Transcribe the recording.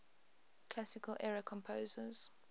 classical era composers